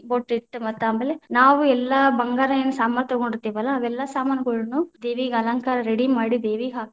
ಬೊಟ್ಟ ಇಟ್ಟ, ಮತ್ತ ಆಮೇಲೆ ನಾವು ಎಲ್ಲಾ ಬಂಗಾರ ಏನ್ ಸಾಮಾನ ತಗೊಂಡಿತೇ೯ವಲ್ಲಾ ಅವೆಲ್ಲಾ ಸಾಮಾನುಗಳ್ನು ದೇವಿಗ ಅಲಂಕಾರ ready ಮಾಡಿ ದೇವಿಗ ಹಾಕ್ತೇವಿ.